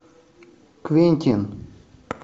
квентин